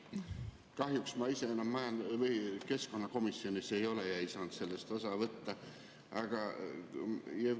Kahjuks ma ise enam keskkonnakomisjonis ei ole ja ei saanud sellest osa võtta.